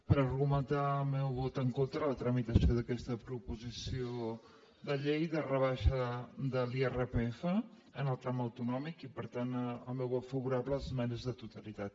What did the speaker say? per argumentar el meu vot en contra de la tramitació d’aquesta proposició de llei de rebaixa de l’irpf en el tram autonòmic i per tant el meu vot favorable a les esmenes a la totalitat